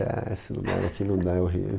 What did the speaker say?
Ah, se não mora aqui, não dá, é horrível.